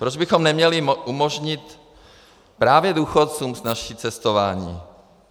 Proč bychom neměli umožnit právě důchodcům snazší cestování?